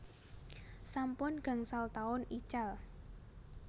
Sampun gangsal taun ical